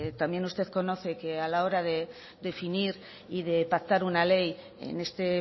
también usted conoce que a la hora de definir y de pactar una ley en este